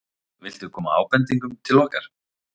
Viltu koma ábendingum til okkar?